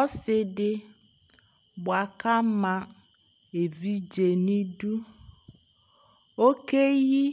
ɔse di boa ko ama evidze no idu okeyi